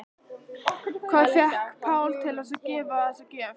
En hvað fékk Pál til þess að gefa þessa gjöf?